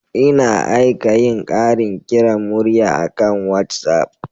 Ina aika yin ƙarin kiran murya akan WhatsApp.